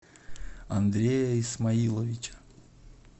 андрея исмаиловича